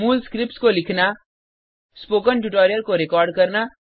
मूल स्क्रिप्ट्स को लिखना स्पोकन ट्यूटोरियल को रिकॉर्ड करना